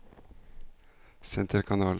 senterkanal